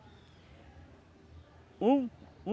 Um